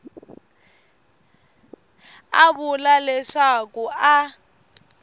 a vula leswaku a a